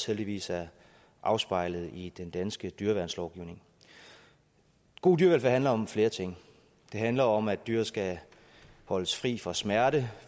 heldigvis er afspejlet i den danske dyreværnslovgivning god dyrevelfærd handler om flere ting det handler om at dyr skal holdes fri for smerte